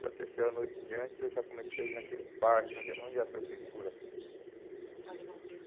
Da terceira noite em diante, eu já comecei a ir naquele parque, onde a onde a prefeitura... O parque Dom Pedro.